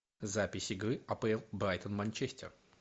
запись игры апл брайтон манчестер